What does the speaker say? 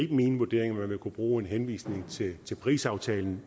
man kunne bruge en henvisning til parisaftalen